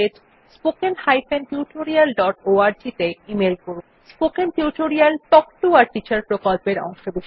spoken tutorial talk to a teacher প্রকল্পের অংশবিশেষ